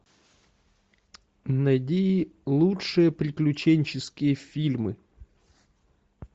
найди лучшие приключенческие фильмы